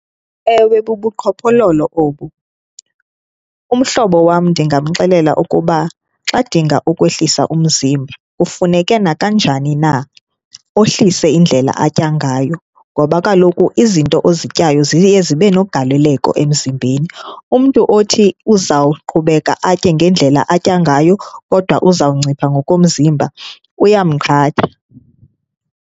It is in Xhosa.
Ewe bubuqhophololo obu. Umhlobo wam ndingamxelela ukuba xa edinga ukwehlisa umzimba kufuneke nakanjani na ohlise indlela atya ngayo, ngoba kaloku izinto ozityayo ziye zibenogaleleko emzimbeni. Umntu othi uzawuqhubeka atye ngendlela atya ngayo kodwa uzawuncipha ngokomzimba uyamqhatha.